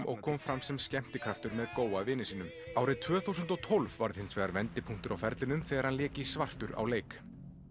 og kom fram sem skemmtikraftur með vini sínum árið tvö þúsund og tólf varð hins vegar vendipunktur á ferlinum þegar hann lék í svartur á leik